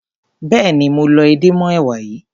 Béèni mo lọ edé mọ́ èwà yìí.